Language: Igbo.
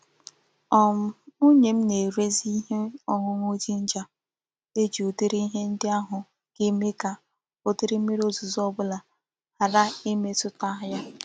um Nwunye m na-ere zi ihe oñuñu ginger e ji udiri ihe ndi ahu ga-eme ka udiri mmiri ozuzo obula hara imetuta ya.